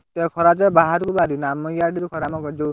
ଏଠି ତ ଖରା ଯେ ବାହାରକୁ ବାହାରି ହଉନି ଆମର ଇଆଡେ ବି ଖରା ଆମ ଯଉଁ